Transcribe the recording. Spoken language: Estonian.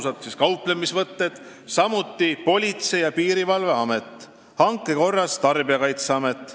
Samuti on PBK-lt saateid tellinud Politsei- ja Piirivalveamet ning hanke korras Tarbijakaitseamet.